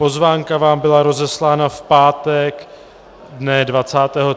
Pozvánka vám byla rozeslána v pátek dne 23. listopadu.